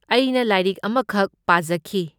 ꯑꯩꯅ ꯂꯥꯏꯔꯤꯛ ꯑꯃꯈꯛ ꯄꯥꯖꯈꯤ꯫